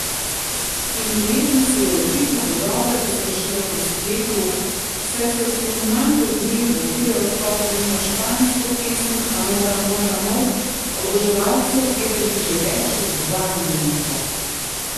In ljubezen se je očitno dodobra razpršila po spletu, saj so si v manj kot dnevu videospot za njeno špansko pesem Amor, amor, amor oboževalci ogledali že več kot dvamilijonkrat.